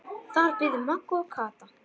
Þar biðu Magga og Kata.